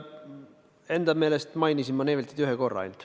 Enda meelest ma mainisin Neiveltit ühe korra.